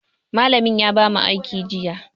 Malamin ya bamu aiki jiya.